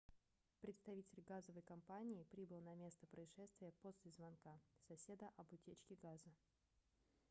представитель газовой компании прибыл на место происшествия после звонка соседа об утечке газа